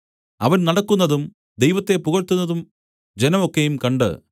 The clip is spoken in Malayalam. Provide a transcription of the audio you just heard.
അവൻ നടക്കുന്നതും ദൈവത്തെ പുകഴ്ത്തുന്നതും ജനം ഒക്കെയും കണ്ട്